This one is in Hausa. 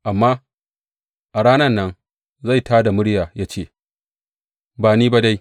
Amma a ranan nan zai tā da murya ya ce, Ba ni ba dai.